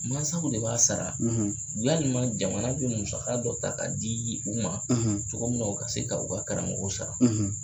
Masaw de b'a sara walima jamana bɛ musaka dɔ ta k'a di u ma cogo min na u ka se ka u ka karamɔgɔw sara.